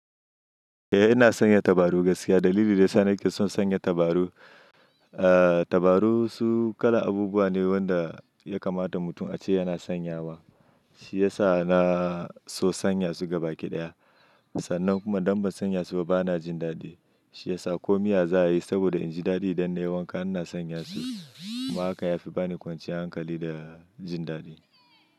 Eh ina sanya tabaru gaskiya. Dalili da ya sa nake son sanya tabaru, eh tabaru su kala abubuwa ne wanda ya kamata mutum ace yana sanyawa. Shi ya sa na so sanya su gaba kiɗaya. Sannan kuma dan ban sanya su ba bana jin dadi. Shi ya sa komiya za a yi saboda inji dadi idan nai wanka ina sanya su. Kuma haka ya fi bani kwanciyar hankali da jin dadi.